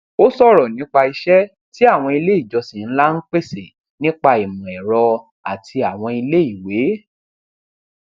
ó ṣòrọ nípa iṣẹ tí àwọn ilé ìjọsìn ńlá ń pèsè nípa ìmọ ẹrọ àti àwọn ilé ìwé